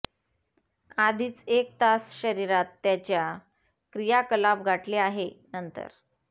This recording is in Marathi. आधीच एक तास शरीरात त्याच्या क्रियाकलाप गाठले आहे नंतर